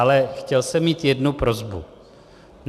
Ale chtěl jsem mít jednu prosbu.